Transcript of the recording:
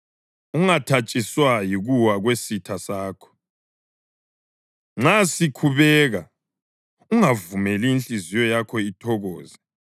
Ungathatshiswa yikuwa kwesitha sakho; nxa sikhubeka ungavumeli inhliziyo yakho ithokoze,